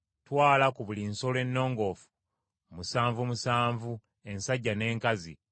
Twala ku buli nsolo ennongoofu musanvu musanvu ensajja n’enkazi,